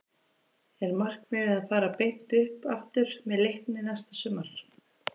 Er markmiðið að fara beint upp aftur með Leikni næsta sumar?